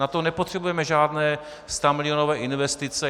Na to nepotřebujeme žádné stamilionové investice.